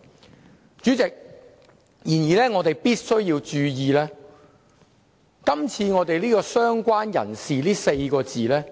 然而，主席，我們必須注意，"相關人士"這4個字